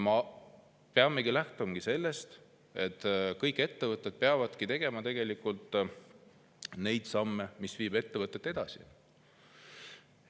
Me peamegi lähtuma sellest, et kõik ettevõtted teevad samme, mis viivad ettevõtet edasi.